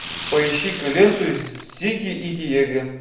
поищи ка ленту зигги и диего